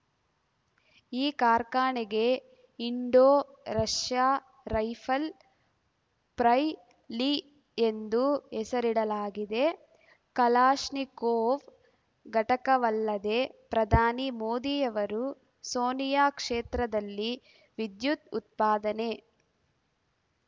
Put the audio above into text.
ಈ ಕಾರ್ಖಾನೆಗೆ Indo Russia rifle ಪ್ರೈಲಿ ಎಂದು ಹೆಸರಿಡಲಾಗಿದೆ ಕಲಾಶ್ನಿಕೋವ್‌ ಘಟಕವಲ್ಲದೆ ಪ್ರಧಾನಿ ಮೋದಿಯವರು ಸೋನಿಯಾ ಕ್ಷೇತ್ರದಲ್ಲಿ ವಿದ್ಯುತ್‌ ಉತ್ಪಾದನೆ